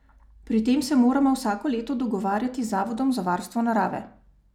Pri tem se moramo vsako leto dogovarjati z Zavodom za varstvo narave.